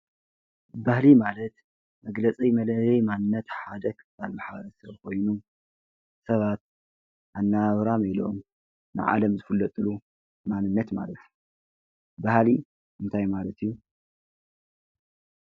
ባህሊ ማለት መግለፂ መለልይ ማንነት ሓደ ክፋል ማሕበረሰብ ኮይኑ ሰባት አነባብራን ኢሎም ንዓለም ዝፍለጥሉ ማንነት ማለት እዩ። ባህሊ እንታይ ማለት እዩ?